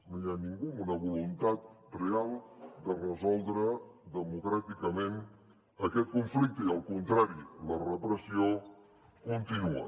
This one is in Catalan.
no hi ha ningú amb una voluntat real de resoldre democràticament aquest conflicte al contrari la repressió continua